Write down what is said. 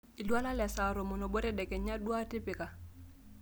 iltualan lesaa tomon oobo tedekenya duoitipika